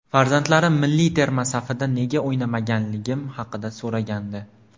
Farzandlarim milliy terma safida nega o‘ynamaganligim haqida so‘ragandi.